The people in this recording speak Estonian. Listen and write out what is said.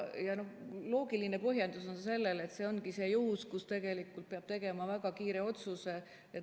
Loogiline põhjendus on see, et see ongi see juhus, kui tegelikult peab tegema väga kiire otsuse.